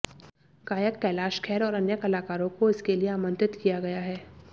गायक कैलाश खेर और अन्य कलाकारों को इसके लिए आमंत्रित किया गया है